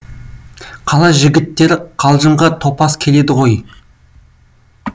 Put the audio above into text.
қала жігіттері қалжыңға топас келеді ғой